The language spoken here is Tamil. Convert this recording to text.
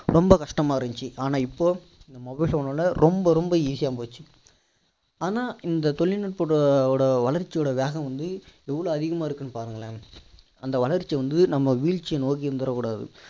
ரொம்ப கஷ்டமா இருந்துச்சி ஆனா இப்போ mobile phone னால ரொம்ப ரொம்ப easy யா போயிடுச்சி ஆனா இந்த தொழில்நூட்பத்தோட வளர்ச்சியோட வேகம் வந்து எவ்வளோ அதிகமா இருக்குன்னு பாருங்களேன் அந்த வளர்ச்சி வந்து நம்ம விழ்ச்சிய நோக்கி இருந்திட கூடாது